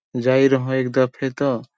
जाई रहों एक दफे त --